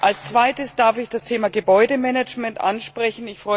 Als Zweites darf ich das Thema Gebäudemanagement ansprechen.